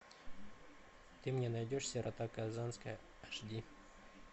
ты мне найдешь сирота казанская аш ди